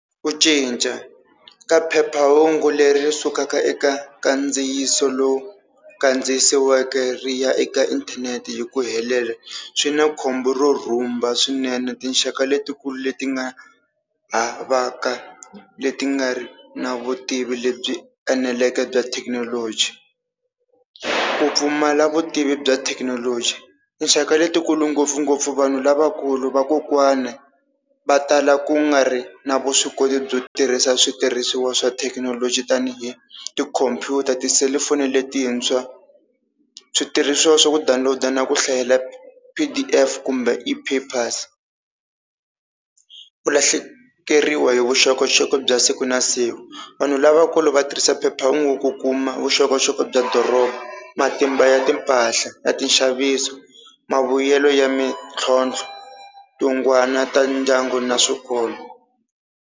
Ku cinca ka phephahungu leri sukaka eka kandziyiso lowu kandziyisiweke ri ya eka inthanete hi ku helela swi na khombo ro rhumba swinene tinxaka letikulu leti nga havaka leti nga ri na vutivi lebyi eneleke bya thekinoloji. Ku pfumala vutivi bya thekinoloji tinxaka letikulu ngopfungopfu vanhu lavakulu, vakokwana va tala ku nga ri na vuswikoti byo tirhisa switirhisiwa swa thekinoloji tani hi tikhompyutara, ti-cellphone letintshwa, switirhisiwa swa ku download na ku hlayela P_D_F kumbe e-papers. Ku lahlekeriwa hi vuxokoxoko bya siku na siku vanhu lavakulu va tirhisa phephahungu ku kuma vuxokoxoko bya doroba, matimba ya timpahla ta tinxaviso, mavuyelo ya mintlhontlho, tingwana ta ndyangu na swikolo.